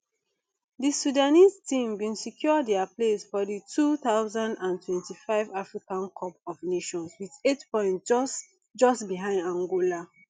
di sudanese team bin secure dia place for di two thousand and twenty-five africa cup of nations wit eight points just just behind angola